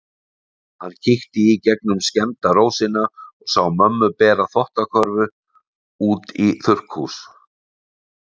Hann kíkti í gegnum skemmda rósina og sá mömmu bera þvottakörfu út í þurrkhús.